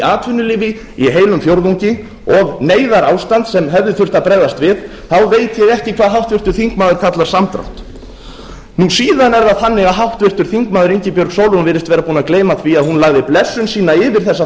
atvinnulífi í heilum fjórðungi og neyðarástand sem hefði þurft að bregðast við þá veit ég ekki hvað háttvirtur þingmaður kallar samdrátt síðan er það þannig að háttvirtur þingmaður ingibjörg sólrún virðist vera búin að gleyma því að hún lagði blessun sína yfir þessa